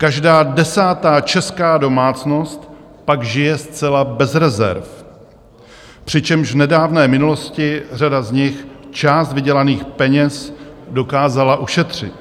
Každá desátá česká domácnost pak žije zcela bez rezerv, přičemž v nedávné minulosti řada z nich část vydělaných peněz dokázala ušetřit.